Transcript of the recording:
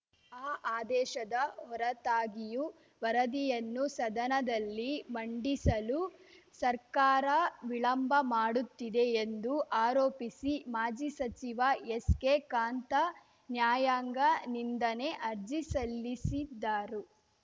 ಆ ಆದೇಶದ ಹೊರತಾಗಿಯೂ ವರದಿಯನ್ನು ಸದನದಲ್ಲಿ ಮಂಡಿಸಲು ಸರ್ಕಾರ ವಿಳಂಬ ಮಾಡುತ್ತಿದೆ ಎಂದು ಆರೋಪಿಸಿ ಮಾಜಿ ಸಚಿವ ಎಸ್‌ಕೆಕಾಂತಾ ನ್ಯಾಯಾಂಗ ನಿಂದನೆ ಅರ್ಜಿ ಸಲ್ಲಿಸಿದ್ದಾರು